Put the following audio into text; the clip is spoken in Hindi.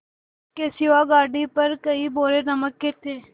इसके सिवा गाड़ी पर कई बोरे नमक के थे